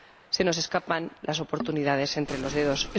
Se nos escapan las oportunidades entre los dedos.